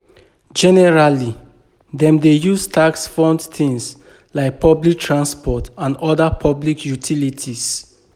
Generally, dem dey use tax fund things like public transport and oda public utilities